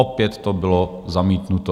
Opět to bylo zamítnuto.